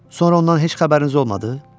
Sonra ondan heç xəbəriniz olmadı?